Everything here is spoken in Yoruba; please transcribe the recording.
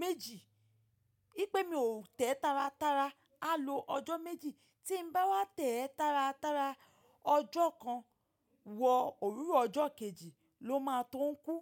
méjì. Í pé mi ò tẹ̀ẹ́ tára tára, á lo ọjọ́ méjì. Tí n bá wá tẹ̀ẹ́ tára tára, ọjọ́ kan wọ òwúrọ̀ ọjọ́ kejì ló máa tó ń kú.